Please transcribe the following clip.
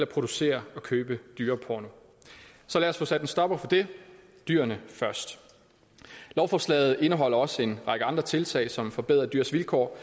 producere og købe dyreporno så lad os få sat en stopper for det dyrene først lovforslaget indeholder også en række andre tiltag som forbedrer dyrs vilkår